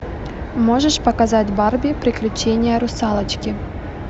можешь показать барби приключения русалочки